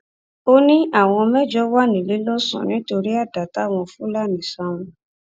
ó ní àwọn mẹjọ wà níléelọsàn nítorí àdá táwọn fúlàní sá wọn